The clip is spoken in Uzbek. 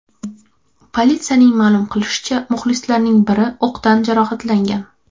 Politsiyaning ma’lum qilishicha, muxlislarning biri o‘qdan jarohatlangan.